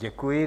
Děkuji.